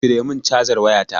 Ciro min cazar wayata